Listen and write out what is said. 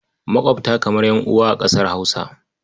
Maƙwabta kamar ƴan'uwa a ƙasar Hausa.